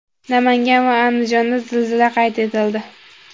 Namangan va Andijonda zilzila qayd etildi.